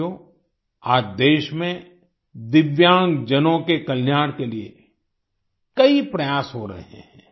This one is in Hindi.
साथियो आज देश में दिव्यांगजनों के कल्याण के लिए कई प्रयास हो रहे हैं